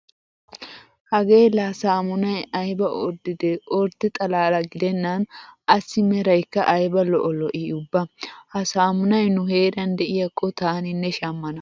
Hagee laa saamunay ayba orddidee ordde xalaala gidenna assi meraykka ayba lo'o lo'ii ubba! Ha saamunay nu heeran de'iyakko taaninne shammana.